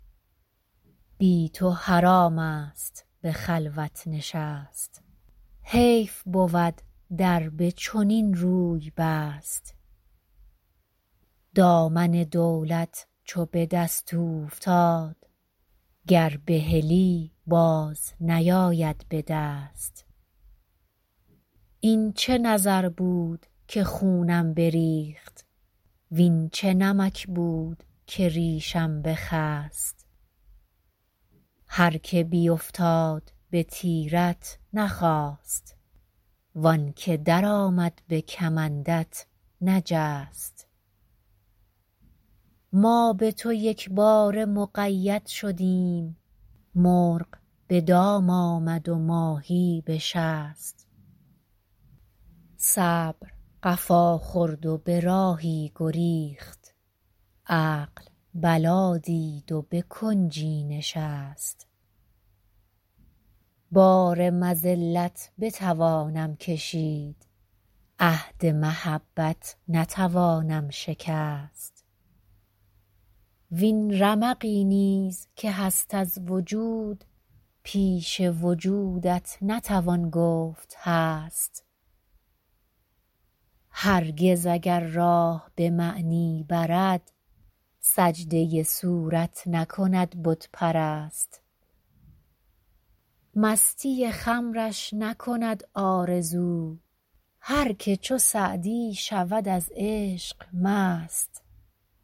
بی تو حرام است به خلوت نشست حیف بود در به چنین روی بست دامن دولت چو به دست اوفتاد گر بهلی باز نیاید به دست این چه نظر بود که خونم بریخت وین چه نمک بود که ریشم بخست هر که بیفتاد به تیرت نخاست وان که درآمد به کمندت نجست ما به تو یکباره مقید شدیم مرغ به دام آمد و ماهی به شست صبر قفا خورد و به راهی گریخت عقل بلا دید و به کنجی نشست بار مذلت بتوانم کشید عهد محبت نتوانم شکست وین رمقی نیز که هست از وجود پیش وجودت نتوان گفت هست هرگز اگر راه به معنی برد سجده صورت نکند بت پرست مستی خمرش نکند آرزو هر که چو سعدی شود از عشق مست